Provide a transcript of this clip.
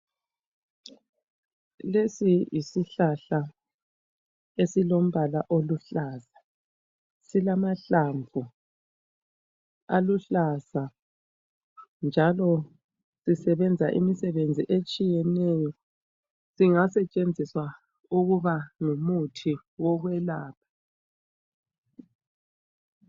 Lesi yisihlahla esilombala oluhlaza. Silamahlamvu aluhlaza njalo sisebenza imisebenzi etshiyeneyo. Singasetshenziswa ukuba ngumuthi wokwelapha.